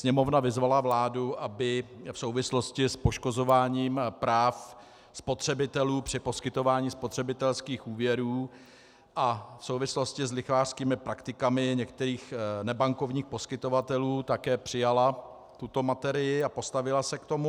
Sněmovna vyzvala vládu, aby v souvislosti s poškozováním práv spotřebitelů při poskytování spotřebitelských úvěrů a v souvislosti s lichvářskými praktikami některých nebankovních poskytovatelů také přijala tuto materii a postavila se k tomu.